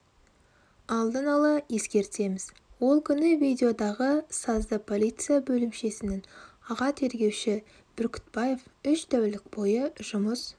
алдын ала ескертеміз ол күні видеодағы сазды полиция бөлімшесінің аға тергеуші бүркітбаев үш тәулік бойы жұмыс